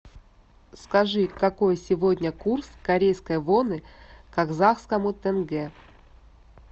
скажи какой сегодня курс корейской воны к казахскому тенге